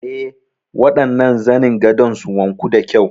Eh, waɗannan zanin gadon su wanku da kyau.